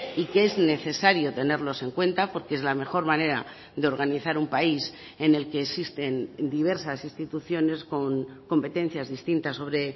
y que es necesario tenerlos en cuenta porque es la mejor manera de organizar un país en el que existen diversas instituciones con competencias distintas sobre